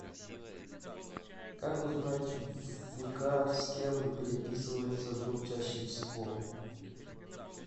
как узнать в вк с кем переписывается друг чаще всего